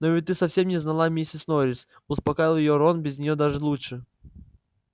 но ведь ты совсем не знала миссис норрис успокаивал её рон без нее даже лучше